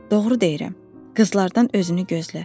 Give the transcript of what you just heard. Doğru deyirəm, qızlardan özünü gözlə.